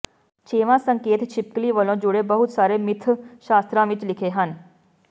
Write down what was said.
ਛੇਵਾਂ ਸੰਕੇਤ ਛਿਪਕਲੀ ਵਲੋਂ ਜੁਡ਼ੇ ਬਹੁਤ ਸਾਰੇ ਮਿਥਿਅ ਸ਼ਾਸਤਰਾਂ ਵਿੱਚ ਲਿਖੇ ਹਨ